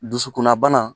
Dusukunna bana